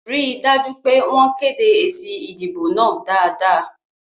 Rí dájú pé wọ́n kéde èsì ìdìbò náà dáadáa